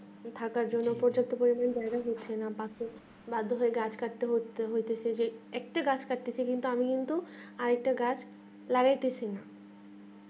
থাকার জন্য প্রযুক্ত পরিমানের জায়গা হচ্ছে না বা গাছ কাটতে হটেছে যে একটি গাছ কাটছে এবং তারা কিন্তু আর একটি গাছ লাগাইতাছে না